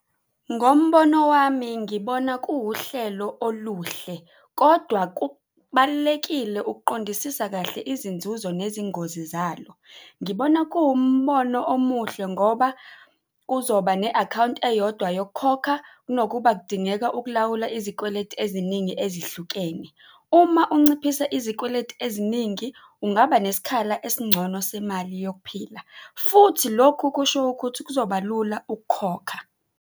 Ngombono wami ngibona kuwuhlelo oluhle kodwa kubalulekile ukuqondisisa kahle izinzuzo nezingozi zalo. Ngibona kuwumbono omuhle ngoba kuzoba ne-akhawunti eyodwa yokukhokha kunokuba kudingeka ukulawula izikweletu eziningi ezihlukene. Uma unciphise izikweletu eziningi ungaba nesikhala esingcono semali yokuphila futhi lokhu kusho ukuthi kuzoba lula ukukhokha.